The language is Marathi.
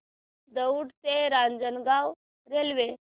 दौंड ते रांजणगाव रेल्वे